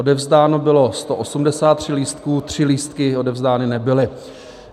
Odevzdáno bylo 183 lístků, 3 lístky odevzdány nebyly.